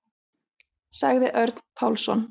Sagði Örn Pálsson.